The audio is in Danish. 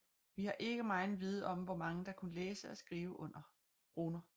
Vi har ikke megen viden om hvor mange der kunne læse og skrive runer